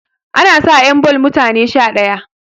ana sa 'yan ball mutane Sha ɗaya